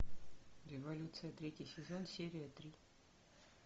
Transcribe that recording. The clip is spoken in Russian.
революция третий сезон серия три